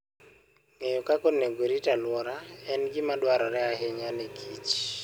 Ng'eyo kaka onego orit alwora en gima dwarore ahinya ne kich.